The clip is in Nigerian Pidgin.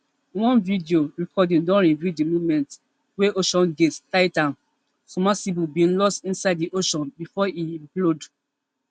one video recording don reveal di moment wey oceangate titan submersible bin loss inside di ocean before e implode